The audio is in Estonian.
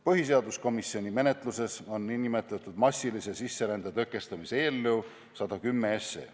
Põhiseaduskomisjoni menetluses on nn massilise sisserände tõkestamise eelnõu, mis kannab numbrit 110.